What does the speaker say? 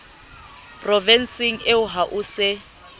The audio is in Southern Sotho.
provenseng eo ha ho se